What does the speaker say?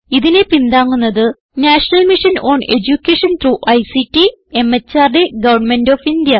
ഇതിനെ പിന്താങ്ങുന്നത് national mission on education through ICT MHRD government of India